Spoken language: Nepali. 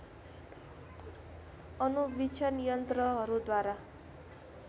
अणुवीक्षण यन्त्रहरू द्वारा